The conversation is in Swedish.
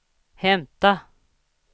hämta